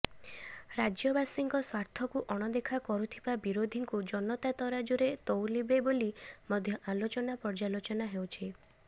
ରାଜ୍ୟବାସୀଙ୍କ ସ୍ୱାର୍ଥକୁ ଅଣଦେଖା କରୁଥିବା ବିରୋଧୀଙ୍କୁ ଜନତା ତରାଜୁରେ ତଉଲିବେ ବୋଲି ମଧ୍ୟ ଆଲୋଚନା ପର୍ଯ୍ୟାଲୋଚନା ହେଉଛି